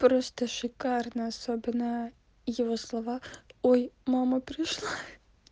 просто шикарно особенно его слова ой мама пришла